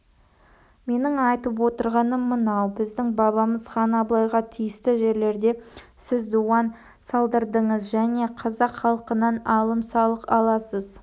менің айтып отырғаным мынау біздің бабамыз хан абылайға тиісті жерлерде сіз дуан салдырдыңыз және қазақ халқынан алым-салық аласыз